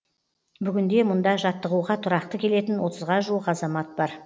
бүгінде мұнда жаттығуға тұрақты келетін отызға жуық азамат бар